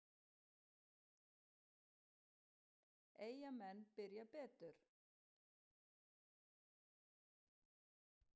Eyjamenn byrja betur.